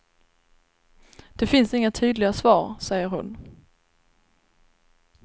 Det finns inga tydliga svar, säger hon.